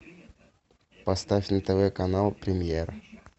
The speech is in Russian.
поставь на тв канал премьер